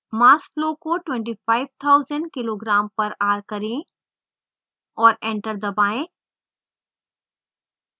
mass flow को 25000 kg/h करें और enter दबाएँ